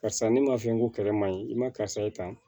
Karisa ne ma fɛn ko kɛlɛ ma ɲi i ma karisa ye tan